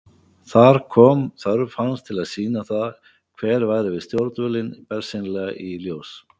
Þar kom þörf hans til að sýna það hver væri við stjórnvölinn bersýnilega í ljós.